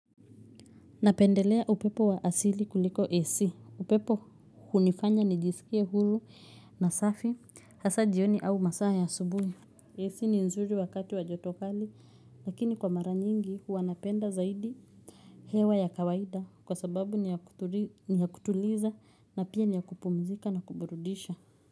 Napendelea upepo wa asili kuliko AC upepo hunifanya nijisikie huru na safi hasa jioni au masaa ya asubuhi AC ni nzuri wakati wajoto kali lakini kwa mara nyingi huwa napenda zaidi hewa ya kawaida kwa sababu ni ya kutuliza na pia ni ya kupumzika na kuburudisha.